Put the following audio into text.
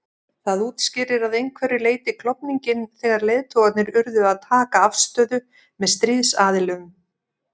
Það útskýrir að einhverju leyti klofninginn þegar leiðtogarnir urðu að taka afstöðu með stríðsaðilum.